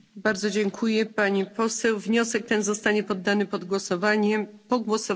Wniosek ten zostanie poddany pod głosowanie po głosowaniu nad wnioskiem Komisji.